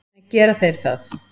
En gera þeir það?